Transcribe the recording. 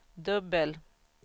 dubbel